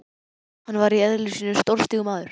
Hann var í eðli sínu stórstígur maður.